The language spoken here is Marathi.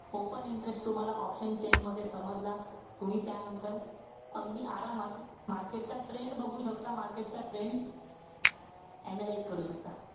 Open interest तुम्हाला option chain मध्ये समजला. तुम्ही त्यानंतर अगदी आरामात market चा trend बघू शकता. Market चा trend analyze करू शकता.